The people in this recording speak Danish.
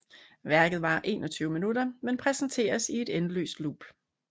Værket varer 21 minutter men præsenteres i et endeløst loop